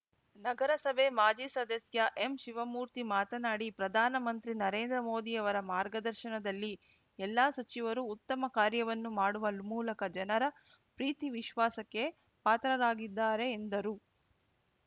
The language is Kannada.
ನಗರಸಭೆ ಮಾಜಿ ಸದಸ್ಯ ಎಂಶಿವಮೂರ್ತಿ ಮಾತನಾಡಿ ಪ್ರಧಾನ ಮಂತ್ರಿ ನರೇಂದ್ರ ಮೋದಿಯವರ ಮಾರ್ಗದರ್ಶನದಲ್ಲಿ ಎಲ್ಲಾ ಸಚಿವರು ಉತ್ತಮ ಕಾರ್ಯವನ್ನು ಮಾಡುವ ಮೂಲಕ ಜನರ ಪ್ರೀತಿ ವಿಶ್ವಾಸಕ್ಕೆ ಪಾತ್ರರಾಗಿದ್ದಾರೆ ಎಂದರು